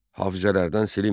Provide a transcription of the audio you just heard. Hafizələrdən silinmir.